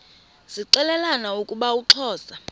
zixelelana ukuba uxhosa